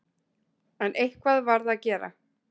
En eitthvað varð að gera.